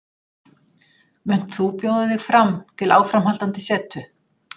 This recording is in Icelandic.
Munt þú bjóða þig fram til áframhaldandi setu?